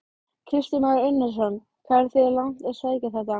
Kristján Már Unnarsson: Hvað eruð þið langt að sækja þetta?